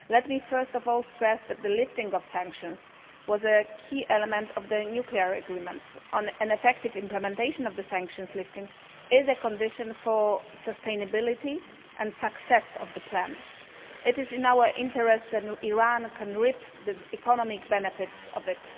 Let me first of all stress that the lifting of sanctions was a key element of the nuclear agreement and an effective implementation of the sanctions lifting is a condition for sustainability and success of the plan. It is in our interests, and Iran can reap the economic benefits of it.